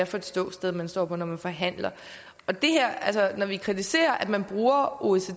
for et ståsted man står på når man forhandler når vi kritiserer at man bruger oecd